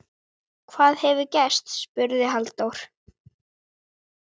Hvað hefur gerst? spurði Halldór.